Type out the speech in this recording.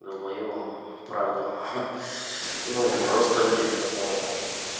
долбоёбам правду ха ну просто людям которые